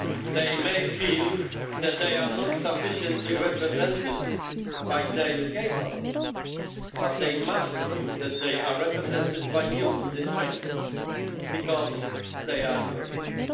They may feel that they are not sufficiently represented by the UK Parliament, but they must feel that they are represented by you in this Chamber because they are Europeans.